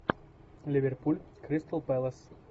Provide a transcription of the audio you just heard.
ливерпуль кристал пэлас